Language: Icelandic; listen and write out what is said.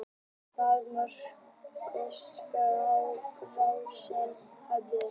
Ráðstefna Norðurskautsráðsins hafin